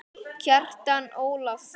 Kjartan Ólason